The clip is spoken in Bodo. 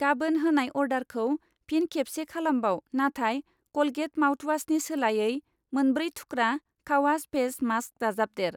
गाबोन होनाय अर्डारखौ फिन खेबसे खालामबाव नाथाय कलगेट माउथवासनि सोलायै मोनब्रै थुख्रा कावाच फेस मास्क दाजाबदेर।